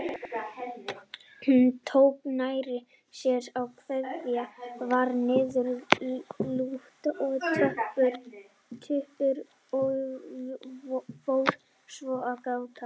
Hún tók nærri sér að kveðja, varð niðurlút og döpur og fór svo að gráta.